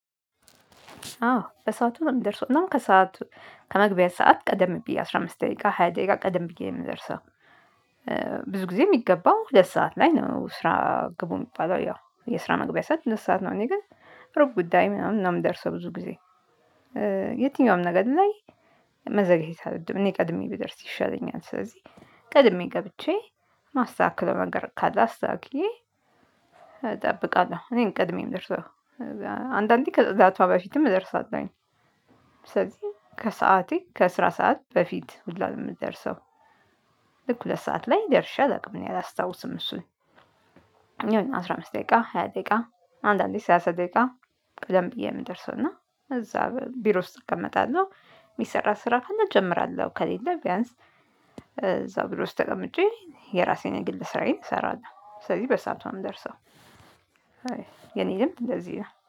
አዎ በሰአቱ እምደርሰው እና ከሰአቱ ከመግቢያ ሰዓት ቀደምብዬ አስራ አምስት ደቂቃ ሃያ ደቂቃ ቀደም ብዬ የምደርሰው። ብዙ ጊዜ የሚገባው ሁለት ሰዓት ላይ ነው ስራ ግቡ የሚባለው ያው የስራ መግቢያ ሰዓት ሁለት ነው። እኔ ግን ሩብ ጉዳይ ምናምን ነው ምደርሰው ብዙ ጊዜ። የትኛውም ነገር ላይ መዘግየት አልወድም እኔ ቀድሜ ብደርስ ይሻለኛል። ስለዚህ ቀድሜ ገብቼ ማስተካክለው ነገር አስታክዬ እጠብቃለሁ። እኔነኝ ቅድሜ እምደርሰው። አንዳንዴ ከጽዳቱዋ በፊትም እደርሳለሁ። ስለዚህ ከሰአቴ ከስራት ሰዓት በፊት ሁላ ነው የምደርሰው። ልክ ሁለት ሰዓት ላይ ደርሼ አላውቅም እኔ አላስታውስም እሱን። አሁን አስራ አምስት ደቂቃ ሃያ ደቂቃ አንዳንዴ ሰላሳ ደቂቃ ቀደም ብዬ የምደርሰው እና እዛ ቢሮ ውስጥ እቀመጣለሁ። የሚሰራ ስራ ካለ እጀምራለሁ ከሌለ ቢያንስ እዛው ብር ውስጥ ተቀምጬ የራሴን ግል ስራዬን እሰራለሁ። ስለዚህ በሰአቱ ነው ደርሰው። የኔ ልምድ እንደዚህ ነው